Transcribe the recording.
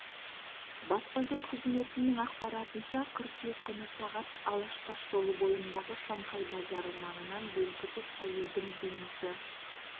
баспасөз қызметінің ақпаратынша қыркүйек күні сағат алаш тас жолы бойындағы шанхай базары маңынан белгісіз әйелдің денесі